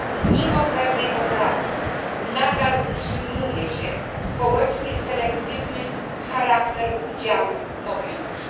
Mimo pewnej poprawy nadal utrzymuje się społecznie selektywny charakter udziału w mobilności.